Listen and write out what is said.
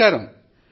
నమస్కారం